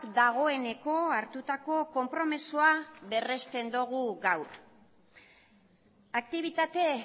dagoeneko hartutako konpromisoa berrezten dugu gaur aktibitate